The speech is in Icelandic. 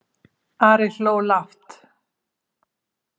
Ari hló lágt.